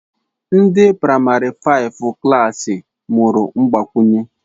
Ndi praịmarị faịfụ klassị mụrụ mgbakwụnye